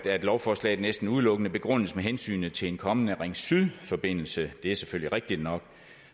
lovforslaget næsten udelukkende begrundes med hensynet til en kommende ring syd forbindelse det er selvfølgelig rigtigt nok